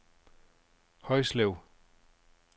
Højslev